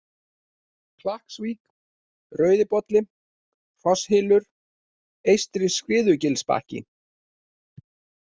Klakksvík, Rauðibolli, Hrosshylur, Eystri-Skriðugilsbakki